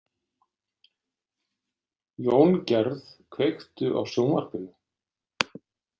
Jóngerð, kveiktu á sjónvarpinu.